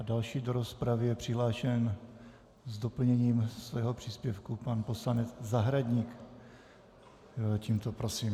A další do rozpravy je přihlášen s doplněním svého příspěvku pan poslanec Zahradník, tímto prosím.